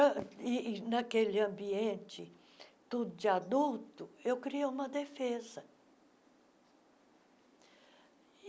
E, naquele ambiente tudo de adulto, eu criei uma defesa.